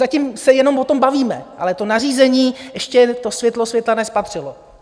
Zatím se jenom o tom bavíme, ale to nařízení ještě to světlo světla nespatřilo!